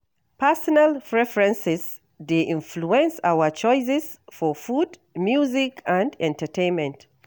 Personal preferences dey influence our choices for food, music, and entertainment.